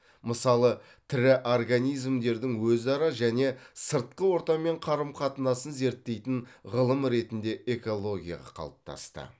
мысалы тірі организмдердің өзара және сыртқы ортамен қарым қатынасын зерттейтін ғылым ретінде экология қалыптасты